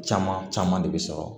Caman caman de bɛ sɔrɔ